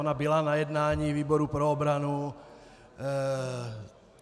Ona byla na jednání výboru pro obranu.